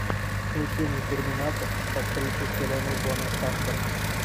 включи мне терминатор с актрисой хеленой бонэм картер